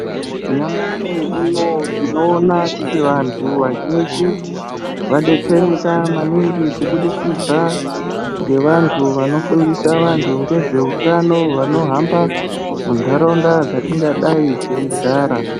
Nyamashi unowu tinoona kuti vantu vazhinji vadetsereka maningi kubudikidza ngevantu vanofundisa vantu ngezveutano vanohamba muntaraunda dzatingadai teigara.